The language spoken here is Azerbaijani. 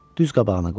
Düz qabağına qoydu.